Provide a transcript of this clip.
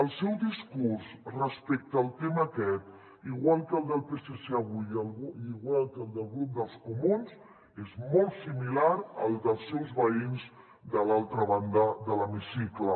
el seu discurs respecte al tema aquest igual que el del psc avui i igual que el del grup dels comuns és molt similar al dels seus veïns de l’altra banda de l’hemicicle